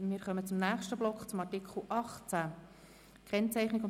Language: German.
Wir kommen zum nächsten Block, zu Artikel 18.